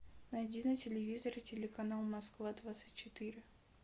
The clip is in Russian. найди на телевизоре телеканал москва двадцать четыре